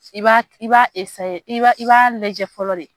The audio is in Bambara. I b'a i b'a lajɛ fɔlɔ de